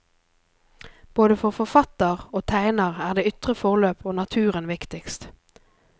Både for forfatter og tegner er det ytre forløp og naturen viktigst.